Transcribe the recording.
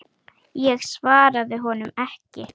Ég svaraði honum ekki.